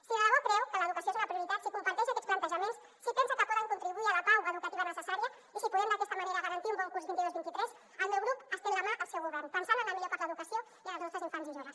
si de debò creu que l’educació és una prioritat si comparteix aquests plantejaments si pensa que podem contribuir a la pau educativa necessària i si podem d’aquesta manera garantir un bon curs vint dos vint tres el meu grup estén la mà al seu govern pensant en el millor per a l’educació i en els nostres infants i joves